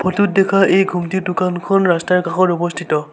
Photo ত দেখা এই ঘুমটিৰ দোকানখন ৰাস্তাৰ কাষত অৱস্থিত।